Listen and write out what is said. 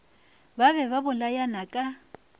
ba be ba bolayana ka